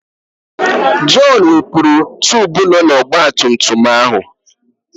Jọn wepụrụ tubu nọ n'ọgbatumtum ahụ.